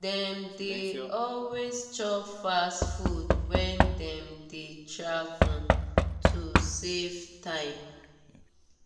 dem dey always chop fast food when dem dey travel to save time.